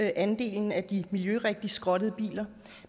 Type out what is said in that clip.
andelen af de miljørigtigt skrottede biler